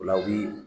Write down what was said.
O la u bi